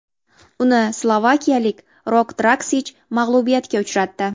Uni slovakiyalik Rok Draksich mag‘lubiyatga uchratdi.